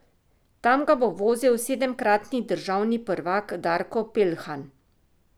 Tam ga bo vozil sedemkratni državni prvak Darko Peljhan.